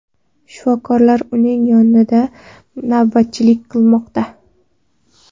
Shifokorlar uning yonida navbatchilik qilmoqda.